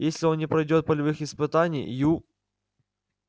если он не пройдёт полевых испытаний ю